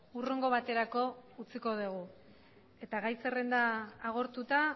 hurrengo baterako utziko dugu eta gai zerrenda agortuta